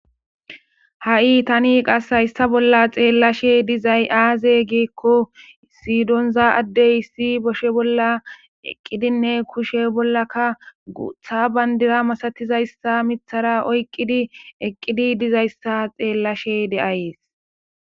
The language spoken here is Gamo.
Hai tani qase hayisa bola xeelashe dizayisi aze gikkobesi doniza addeyi eqidinekka kushe bolakka guththa bandira misatizayisa miththara oyikkidi eqidi dizayisa xeelishe deasi